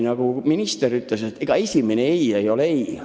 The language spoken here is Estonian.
Nagu minister ütles, ega tegelikult esimene "ei" ei ole lõplik "ei".